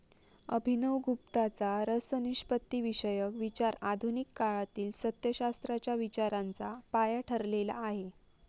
अभिनवगुप्ताचा रसनिष्पत्तीविषयक विचार आधुनिक कळातील सत्यशास्त्रांच्या विचारांचा पाया ठरलेला आहे.